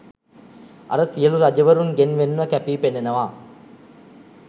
අර සියලූ රජවරුන්ගෙන් වෙන්ව කැපී පෙනෙනවා.